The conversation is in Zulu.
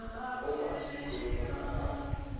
uma zikhuluma nabantu